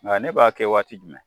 Nka ne b'a kɛ waati jumɛn